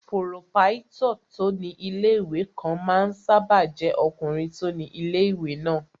Pòròpáítọ̀ tó ní ilé-ìwé kan máa ń sáábà jẹ́ ọkùnrin tó ni ilé-ìwé náà